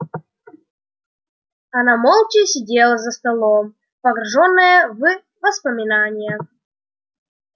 она молча сидела за столом погруженная в воспоминания